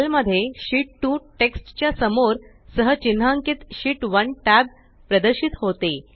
sale मध्ये शीत 2 text च्यासमोर सह चिन्हांकीतSheet 1 टॅब प्रदर्शित होते